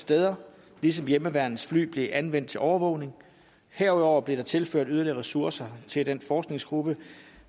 steder ligesom hjemmeværnets fly blev anvendt til overvågning herudover blev der tilført yderligere ressourcer til den forskningsgruppe